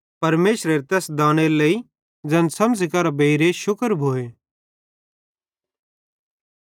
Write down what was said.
परमेशरे तैसेरे तैस दानेरे लेइ ज़ैन समझ़ी करां बेइर शुक्र भोए